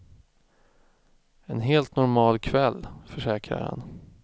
En helt normal kväll, försäkrar han.